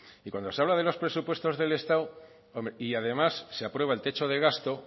y cuando se hablan de los presupuestos del estado y además se aprueba el techo de gasto